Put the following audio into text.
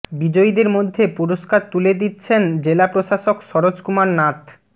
বিজয়ীদের মধ্যে পুরষ্কার তুলে দিচ্ছেন জেলা প্রশাসক সরোজ কুমার নাথ